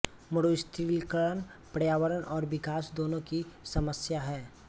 मरुस्थलीकरण पर्यावरण और विकास दोनों की समस्या है